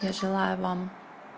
я желаю вам